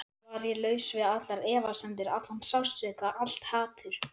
Var ég laus við allar efasemdir, allan sársauka, allt hatur?